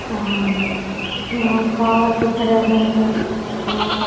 आर यहाँ तार दिख रे है आ --